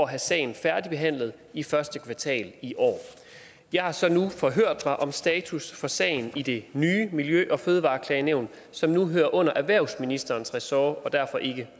at have sagen færdigbehandlet i første kvartal i år jeg har så nu forhørt mig om status for sagen i det nye miljø og fødevareklagenævnet som nu hører under erhvervsministerens ressort og derfor ikke